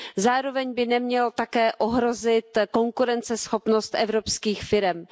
Zároveň by nemělo také ohrozit konkurenceschopnost evropských firem.